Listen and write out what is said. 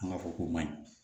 An b'a fɔ ko maɲi